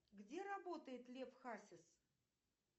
где работает лев хасис